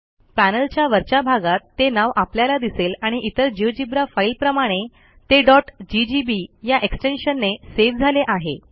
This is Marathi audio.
पॅनेलच्या वरच्या भागात ते नाव आपल्याला दिसेल आणि इतर जिओजेब्रा फाईलप्रमाणे ते ggb या एक्सटेन्शनने सेव्ह झाले आहे